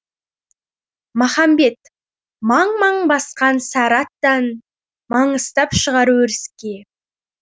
махамбет маң маң басқан сары аттан маңыстап шығар өріске